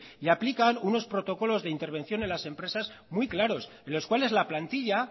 y aplican unos protocolos de intervención en las empresas muy claros en los cuales la plantilla